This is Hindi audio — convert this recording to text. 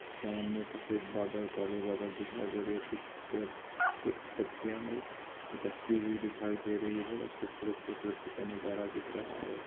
सामने सफ़ेद बादल काले बादल दिखाई दे रहे हैं कुछ पे- कुछ पत्तिया अटकती हुई दिखाई दे रही हैं बड़ा खूबसूरत प्रकृति का नजारा दिख रहा हेे।